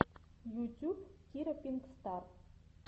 ютюб кира пинк стар